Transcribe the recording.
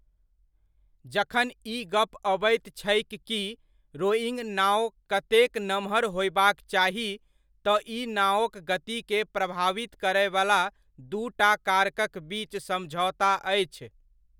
जखन ई गप अबैत छै कि रोइङ्ग नाओ कतेक नमहर होयबाक चाही, तँ ई नाओक गतिकेँ प्रभावित करयवला दूटा कारक'क बीच समझौता अछि।